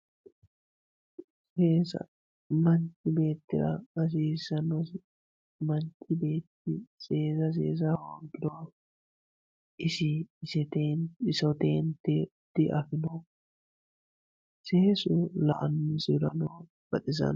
Seesa manchi beetira hasisanosi seesa isi isoteente diafino seesu la`anosihurano baxisano.